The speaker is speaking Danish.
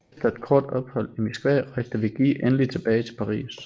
Efter et kort ophold i Moskva rejste Vigée endelig tilbage til Paris